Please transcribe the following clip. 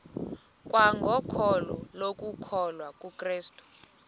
kwangokholo lokukholwa kukrestu